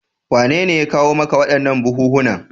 Wanene ya kawo maka waɗannan buhunhunan?